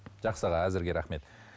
жақсы аға әзірге рахмет